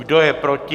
Kdo je proti?